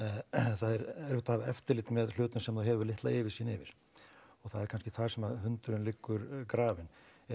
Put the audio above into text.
það er erfitt að hafa eftirlit með hlutum sem þú hefur litla yfirsýn yfir og það er kannski þar sem hundurinn liggur grafinn